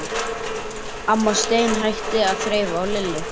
Amma steinhætti að þreifa á Lillu.